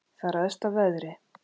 Það ræðst af veðri.